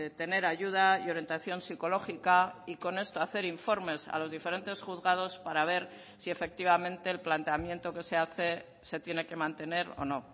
tener ayuda y orientación psicológica y con esto hacer informes a los diferentes juzgados para ver si efectivamente el planteamiento que se hace se tiene que mantener o no